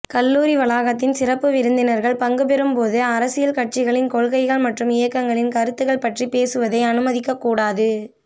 கல்லூரி வளாகத்தில் சிறப்பு விருந்தினர்கள் பங்குபெறும்போது அரசியல் கட்சிகளின் கொள்கைகள் மற்றும் இயக்கங்களின் கருத்துகள் பற்றி பேசுவதை அனுமதிக்கக் கூடாது